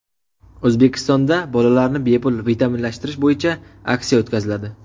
O‘zbekistonda bolalarni bepul vitaminlashtirish bo‘yicha aksiya o‘tkaziladi.